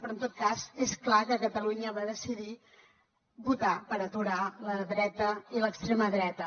però en tot cas és clar que catalunya va decidir votar per aturar la dreta i l’extrema dreta